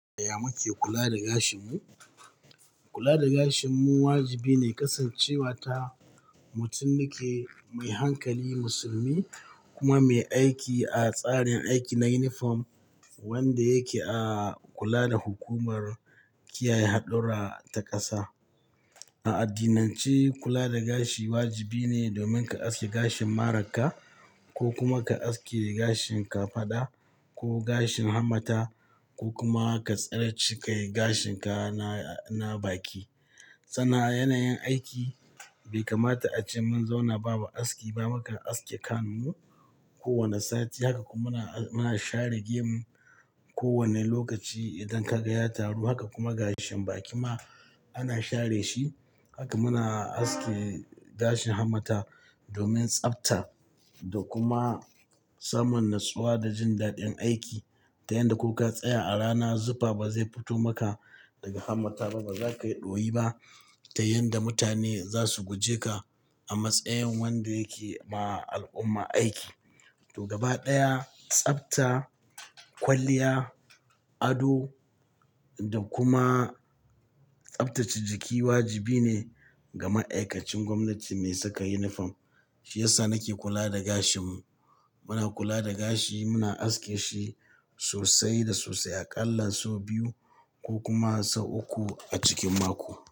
Ya muke kula da gashinmu? Kula da gashinmu wajibi ne, kasancewa ta mutum nake mai hankali musulmi kuma mai aiki a tsarin aiki na uniform wanda yake a kula da hukumar kiyaye haɗurra ta ƙasa. A addinance kula da gashi wajibi ne domin ka aske gashin marar ka ko kuma ka aske gashin kafada ko gashin hammata ko kuma ka tsare cikai gashin ka na, na baki. Sanna a yanayin aiki bai kamata ace mun zauna babu askiba, mukan aske kanmu kowane sati haka kuma muna, muna share gemu kowane lokaci idan kaga ya taru. Haka kuma gashin baki ma ana share shi. Haka muna aske gashin hammata domin tsabta da kuma samun natsuwa da jin daɗin aiki. Ta yanda ko ka tsaya a rana zufa ba zai fito maka daga hammata ba, ba za kayi ɗoyi ba ta yanda mutane za su guje ka a matsayin wanda yake ba al'umma aiki. To gaba ɗaya tsabta, kwalliya, ado, da kuma tsabtace jiki wajibi ne ga ma'aikacin gwamnati mai saka uniform. Shi yasa nake kula da gashinmu. Muna kula da gashi muna aske shi sosai da sosai a ƙalla sau biyu ko kuma sau uku a cikin mako.